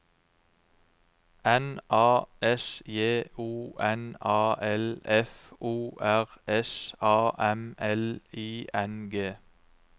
N A S J O N A L F O R S A M L I N G